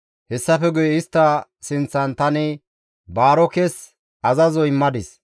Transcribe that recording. Hessafe guye istta sinththan tani Baarokes azazo immadis;